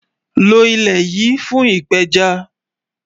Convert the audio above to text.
Lọ ilẹ́ yìí fún ìpẹ́já